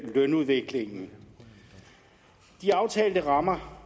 lønudviklingen de aftalte rammer